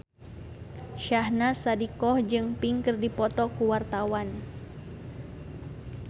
Syahnaz Sadiqah jeung Pink keur dipoto ku wartawan